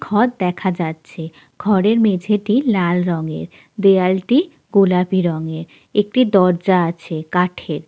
ঘর দেখা যাচ্ছে। ঘরের মেঝেটি লাল রঙের। দেয়াল টি গোলাপি রঙের। একটি দরজা আছে কাঠের।